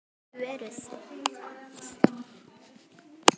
Gæti verið.